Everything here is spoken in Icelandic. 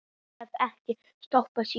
Ég hef ekki stoppað síðan.